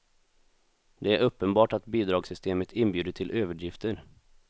Det är uppenbart att bidragssystemet inbjudit till överdrifter.